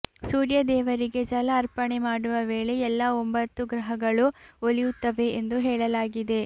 ಸೂರ್ಯ ದೇವರಿಗೆ ಜಲ ಅರ್ಪಣೆ ಮಾಡುವ ವೇಳೆ ಎಲ್ಲಾ ಒಂಭತ್ತು ಗ್ರಹಗಳು ಒಲಿಯುತ್ತವೆ ಎಂದು ಹೇಳಲಾಗಿದೆ